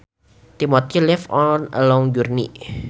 Timothy left on a long journey